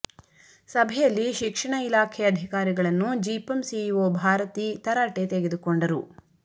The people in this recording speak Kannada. ಸಭೆಯಲ್ಲಿ ಶಿಕ್ಷಣ ಇಲಾಖೆ ಅಧಿಕಾರಿಗಳನ್ನ ಜಿಪಂ ಸಿಇಒ ಭಾರತಿ ತರಾಟೆ ತೆಗೆದುಕೊಂಡರು